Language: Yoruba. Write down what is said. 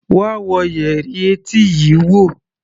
Wá wo yẹrí etí yii wo!